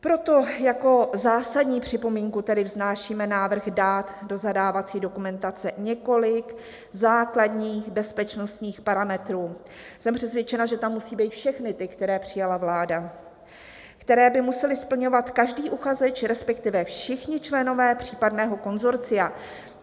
"Proto jako zásadní připomínku tedy vznášíme návrh dát do zadávací dokumentace několik základních bezpečnostních parametrů" - jsem přesvědčena, že tam musí být všechny ty, které přijala vláda - "které by musel splňovat každý uchazeč, respektive všichni členové případného konsorcia."